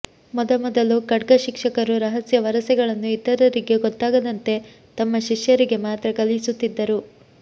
ಮೊದಮೊದಲು ಖಡ್ಗಶಿಕ್ಷಕರು ರಹಸ್ಯ ವರಸೆಗಳನ್ನು ಇತರರಿಗೆ ಗೊತ್ತಾಗದಂತೆ ತಮ್ಮ ಶಿಷ್ಯರಿಗೆ ಮಾತ್ರ ಕಲಿಸುತ್ತಿದ್ದರು